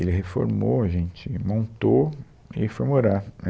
Ele reformou, a gente montou e foi morar.